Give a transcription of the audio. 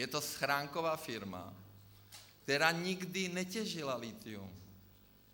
Je to schránková firma, která nikdy netěžila lithium.